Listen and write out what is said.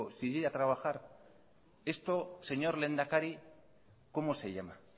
sin ir a trabajar esto señor lehendakari cómo se llama